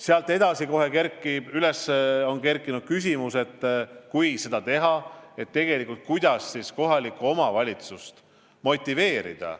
Sealt edasi on kohe üles kerkinud küsimus, et kui seda teha, siis kuidas kohalikku omavalitsust motiveerida.